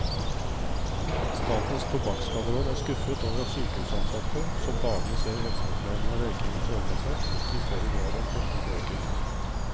Statens tobakkskaderåd er skuffet over at sykehusansatte, som daglig ser helseproblemene røykingen fører med seg, ikke i større grad har stumpet røyken.